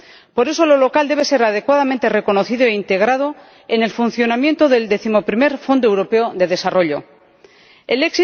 Por eso, lo local debe ser adecuadamente reconocido e integrado en el funcionamiento del undécimo Fondo Europeo de Desarrollo El